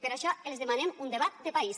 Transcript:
per això els demanem un debat de país